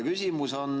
Küsimus on.